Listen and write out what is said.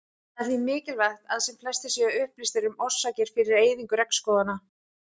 Það er því mikilvægt að sem flestir séu upplýstir um orsakir fyrir eyðingu regnskóganna.